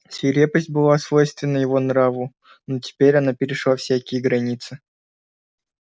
свирепость была свойственна его нраву но теперь она перешла всякие границы